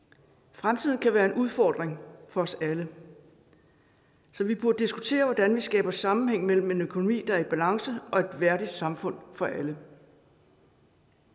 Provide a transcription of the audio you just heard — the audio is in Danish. fremtiden kan være en udfordring for os alle så vi burde diskutere hvordan vi skaber sammenhæng mellem en økonomi der er i balance og et værdigt samfund for alle